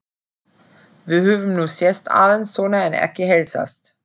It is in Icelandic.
Við höfum nú sést aðeins svona en ekki heilsast.